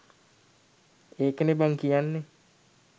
ඒකනේ බං කියන්නේ